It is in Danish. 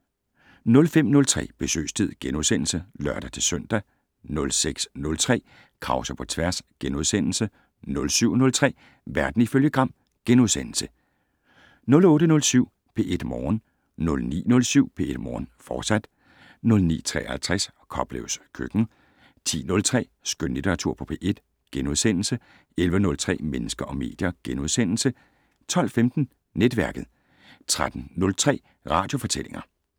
05:03: Besøgstid *(lør-søn) 06:03: Krause på tværs * 07:03: Verden ifølge Gram * 08:07: P1 Morgen 09:07: P1 Morgen, fortsat 09:53: Koplevs køkken 10:03: Skønlitteratur på P1 * 11:03: Mennesker og medier * 12:15: Netværket 13:03: Radiofortællinger